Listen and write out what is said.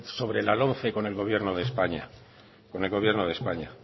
sobre la lomce con el gobierno de españa